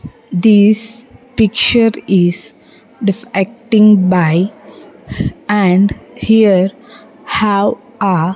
This picture is defecting by and here have a --